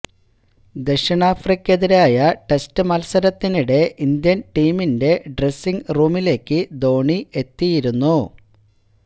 ദക്ഷിണാഫ്രിക്കയ്ക്കെതിരായ test മത്സരത്തിനിടെ Indian ടീമിന്റെ dressing റൂമിലേക്കു ധോണി എത്തിയിരുന്നു